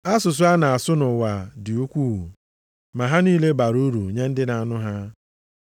Asụsụ a na-asụ nʼụwa a dị ukwuu, ma ha niile bara uru nye ndị na-anụ ha.